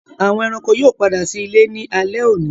Àwọn ẹranko yóò pàdà sí ìlé ní alé òní.